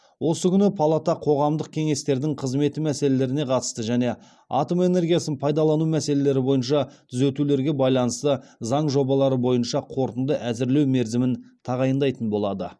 осы күні палата қоғамдық кеңестердің қызметі мәселелеріне қатысты және атом энергиясын пайдалану мәселелері бойынша түзетулерге байланысты заң жобалары бойынша қорытынды әзірлеу мерзімін тағайындайтын болады